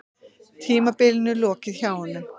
Tímabilinu lokið hjá honum